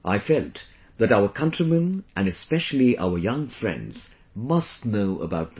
I felt that our countrymen and especially our young friends must know about this